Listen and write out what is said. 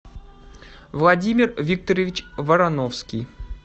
владимир викторович вороновский